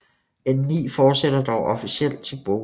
N9 fortsætter dog officielt til Bogø